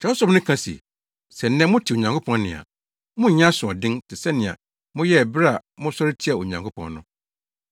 Kyerɛwsɛm no ka se, “Sɛ nnɛ mote Onyankopɔn nne a, monnyɛ asoɔden te sɛ nea moyɛɛ bere a mosɔre tiaa Onyankopɔn no.”